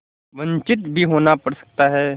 वंचित भी होना पड़ सकता है